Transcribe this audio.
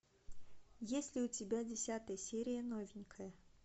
есть ли у тебя десятая серия новенькая